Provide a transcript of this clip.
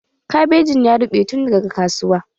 Kabejin ya ruɓe tun daga kasuwa.